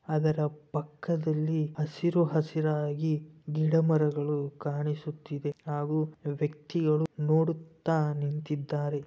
ಅದರ ಪಕ್ಕದಲ್ಲಿ ಹಸಿರು ಹಸಿರಾಗಿ ಗಿಡ ಮರಗಳು ಕಾಣಿಸುತ್ತಿವೆ ಹಾಗು ಒಬ್ಬ ವ್ಯಕ್ತಿಯು ನೋಡುತ್ತಾ ನಿಂತಿದ್ದಾರೆ.